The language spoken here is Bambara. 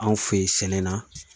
Anw fɛ yen sɛnɛ na